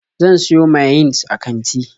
Zan siyo mayines a kanti.